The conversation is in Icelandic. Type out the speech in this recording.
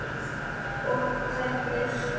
Og verður.